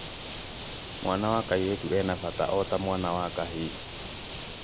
mwana wa kairĩtu ena bata ota mwana wa kĩhii